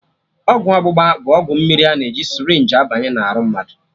Ọgwụ ọgbụgba bụ ọgwụ mmiri a na-eji sịrịnjii abanye na arụ mmadụ